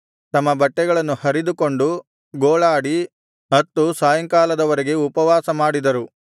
ತಮ್ಮ ಬಟ್ಟೆಗಳನ್ನು ಹರಿದುಕೊಂಡು ಗೋಳಾಡಿ ಅತ್ತು ಸಾಯಂಕಾಲದವರೆಗೆ ಉಪವಾಸ ಮಾಡಿದರು